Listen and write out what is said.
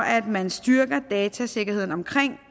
at man styrker datasikkerheden omkring